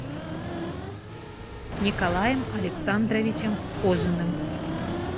николаем александровичем кожиным